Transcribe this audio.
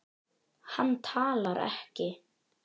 Hann talar ekki.